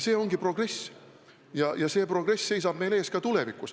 See ongi progress ja progress seisab meil ees ka tulevikus.